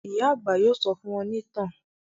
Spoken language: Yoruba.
Ìyá àgbà yóò sọ fún wọn bí ìtàn